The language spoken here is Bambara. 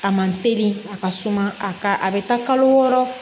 A man teli a ka suma a ka a bɛ taa kalo wɔɔrɔ